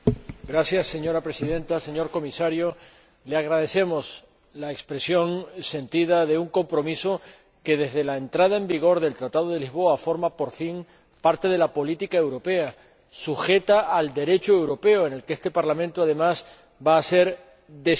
Señora Presidenta, señor Comisario, le agradecemos la expresión sentida de un compromiso que, desde la entrada en vigor del Tratado de Lisboa, forma, por fin, parte de la política europea, sujeta al Derecho europeo en el que este Parlamento, además, va a ser decisivo.